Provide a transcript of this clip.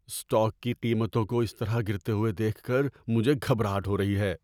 Stock کی قیمتوں کو اس طرح گرتے ہوئے دیکھ کر مجھے گھبراہٹ ہو رہی ہے۔